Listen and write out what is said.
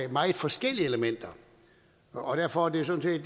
meget forskellige elementer og derfor er det sådan